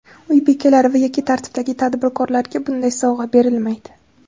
Uy bekalari va yakka tartibdagi tadbirkorlarga bunday sovg‘a berilmaydi.